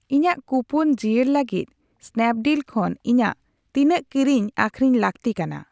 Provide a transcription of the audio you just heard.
ᱤᱧᱟᱜ ᱠᱩᱯᱚᱱ ᱡᱤᱭᱟᱹᱲ ᱞᱟᱹᱜᱤᱫ ᱥᱱᱟᱯᱰᱤᱞ ᱠᱷᱚᱱ ᱤᱧᱟᱜ ᱛᱤᱱᱟᱹᱜ ᱠᱤᱨᱤᱧ ᱟᱹᱠᱷᱨᱤᱧ ᱞᱟᱹᱜᱛᱤ ᱠᱟᱱᱟ ᱾